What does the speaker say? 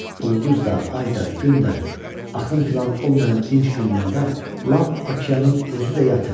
Ulduz da, ay da, gün də, axın filan olmayan dinc günlərdə lap okeanın özü də yatır.